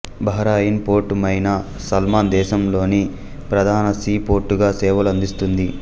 Bahrain port Mina Salman దేశంలోని ప్రధాన sea పోర్టుగా సేవలు అందిస్తుంది